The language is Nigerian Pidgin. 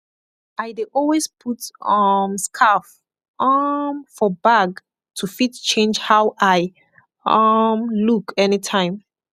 i dey always put um skarf um for bag to fit change how i um look anytime